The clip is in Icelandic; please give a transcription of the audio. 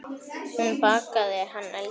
Hún bakaði, hann eldaði.